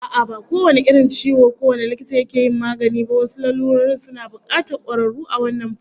A'a, ba kowane irin ciwo kowane likita yake yin maganin ba, wasu lalurorin suna bukatar kwararru a wannan fannin